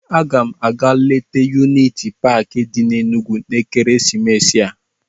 Aga m aga leta yuniti paakị di n'Enugwu n'ekeresimesi a.